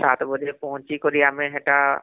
ସାତ ବଜେ ପହଂଚି କରି ଆମେ ହେଟା